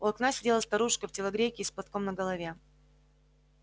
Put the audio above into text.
у окна сидела старушка в телогрейке и с платком на голове